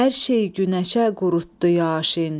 Hər şey günəşə qurutdu Yaşin.